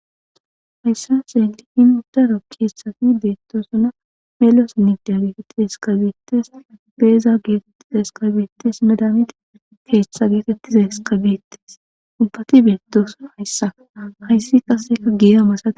Hayssa seenti hin uddaro keessati beetto suna meloos nigdiageeteti eskabeettes peeza geetettiza eskabeetes nedamiti keetchtha geetettiza heskabeettes ibbati beettosuna hayssa hayssi kaseka giyamasa.